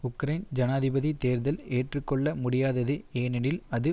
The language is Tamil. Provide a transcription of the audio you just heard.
உக்ரைன் ஜனாதிபதி தேர்தல் ஏற்றுக்கொள்ள முடியாதது ஏனெனில் அது